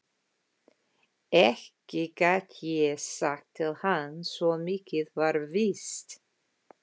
Ekki gat ég sagt til hans, svo mikið var víst.